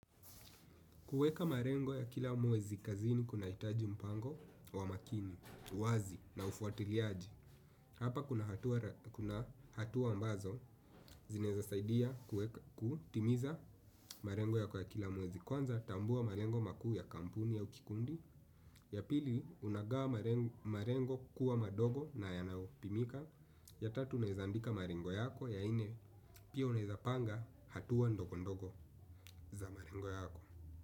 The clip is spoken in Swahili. Kuweka malengo ya kila mwezi kazini kunahitaji mpango wa makini, wazi na ufuatiliaji. Hapa kuna hatua mbazo zinaweza saidia kutimiza malengo yako ya kila mwezi. Kwanza tambua malengo makuu ya kampuni au kikundi. Ya pili unagawa malengo kuwa madogo na yanayopimika. Ya tatu unaweza andika malengo yako, ya nne pia, unaweza panga hatua ndogo ndogo za malengo yako.